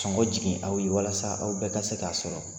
Sɔngɔ jigin aw ye walasa aw bɛɛ ka se k'a sɔrɔ